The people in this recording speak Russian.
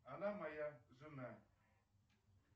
она моя жена